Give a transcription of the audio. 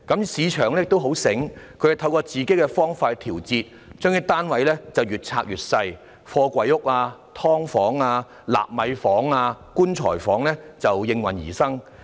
市場上的發展商很聰明，透過自己的方法作調節，興建單位的面積越來越小，貨櫃屋、"劏房"、納米房及"棺材房"便應運而生。